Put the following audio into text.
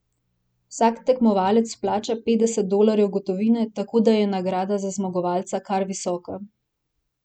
Vsak tekmovalec vplača petdeset dolarjev gotovine, tako da je nagrada za zmagovalca kar visoka.